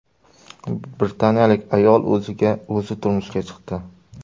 Britaniyalik ayol o‘ziga o‘zi turmushga chiqdi.